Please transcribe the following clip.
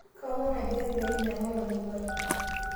kaaomon naaji ake pee minyal olmumai